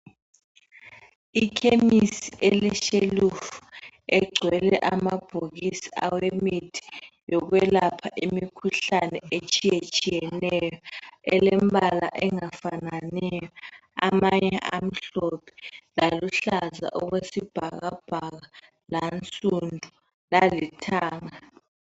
Ikhemisi eleshelufu egcwele amabhokisi awemithi yokwelapha imikhuhlane etshiyetshiyeneyo elembala engafananiyo. Amanye amhlophe laluhlaza okwesibhakabhaka lansundu lalithanga.